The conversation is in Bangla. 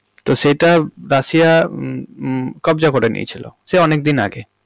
তো সেটা রাশিয়া হমম হমম কব্জা করে নিয়েছিল সে অনেকদিন আগে।